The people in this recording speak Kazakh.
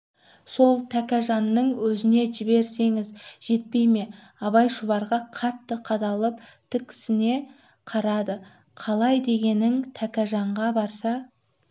сол тәкежанның өзіне жіберсеңіз жетпей ме абай шұбарға қатты қадалып тіксіне қарады қалай дегенің тәкежанға барса